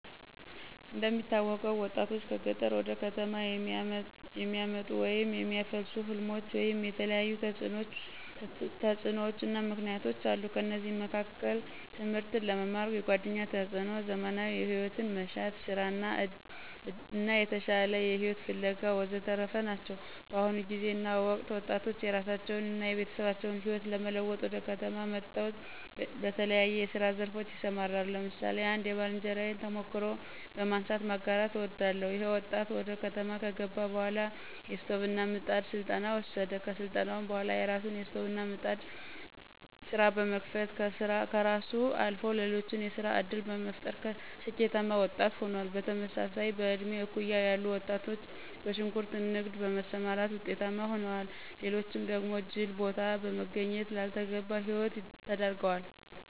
እንደሚታወቀው ወጣቶችን ከገጠር ወደ ከተሞች የሚያመጡ ወይም የሚያፋልሱ ሕልሞች ወይም የተለያዩ ተጽዕኖዎችና ምክነያቶች አሉ። ከነዚህም መካከል ትምህርትን ለመማር፣ የጓደኛ ተፅዕኖ፣ ዘመናዊ ሂወትን መሻት፣ ሥራን እና የተሻለ ሂወትን ፋለጋ ወዘተረፈ ናቸው። በአሁኑ ጊዜና ወቅት ወጣቶች የራሳቸውን አና የቤተሰባችን ህይወት ለመለወጥ ወደ ከተማ መጠው በተለያየ የስራ ዘርፎች ይሰማራሉ። ለምሳሌ አንድ የባልንጀራየን ተሞክሮ በማንሳት ማጋራት አወዳለሁ። ይኸ ወጣት ወደ ከተማ ከገባ በኋላ የስቶቭና ምጣድ ስልጠና ወሰደ። ከስልጠናውም በኋላ የራሱን የስቶቭና ምጣድ ስራ በመክፈትም ከራሱ አልፎ ለሌሎች የስራ ዕድል በመፍጠር ስኬታማ ወጣት ሆኗል። በተመሳሳይም በእድሜ እኩያ ያሉ ወጣቶች በሽንኩርት ንግድ በመሰማራት ውጤታማ ሆነዋል። ሌሎች ደግሞ ጅል ቦታ በመገኘት ላልተገባ ሂወት ተዳርገዋል።